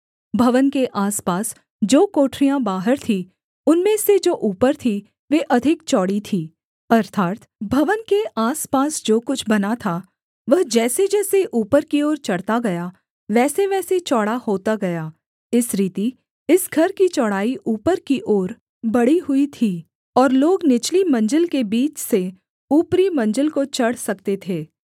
भवन के आसपास जो कोठरियाँ बाहर थीं उनमें से जो ऊपर थीं वे अधिक चौड़ी थीं अर्थात् भवन के आसपास जो कुछ बना था वह जैसेजैसे ऊपर की ओर चढ़ता गया वैसेवैसे चौड़ा होता गया इस रीति इस घर की चौड़ाई ऊपर की ओर बढ़ी हुई थी और लोग निचली मंजिल के बीच से ऊपरी मंजिल को चढ़ सकते थे